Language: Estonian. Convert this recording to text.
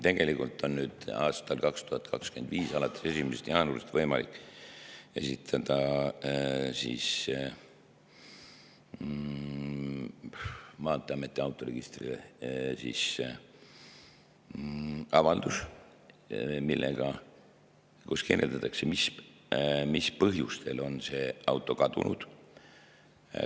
Tegelikult on alates 2025. aasta 1. jaanuarist võimalik esitada maanteeameti autoregistrile avaldus, kus kirjeldatakse, mis põhjusel on see auto kadunud.